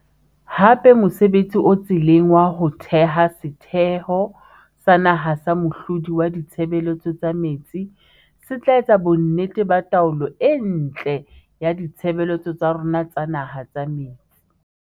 Hape mosebtsi o tseleng wa ho theha Setheho sa Naha sa Mohlodi wa Ditshebeletso tsa Metsi se tla etsa bonnete ba taolo e ntle ya ditshebeletso tsa rona tsa naha tsa metsi.